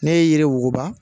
Ne ye yiri wuguba